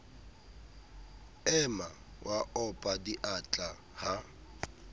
ema wa opa diatla ha